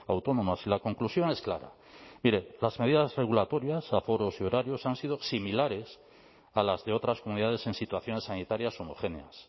autónomas y la conclusión es clara mire las medidas regulatorias aforos y horarios han sido similares a las de otras comunidades en situaciones sanitarias homogéneas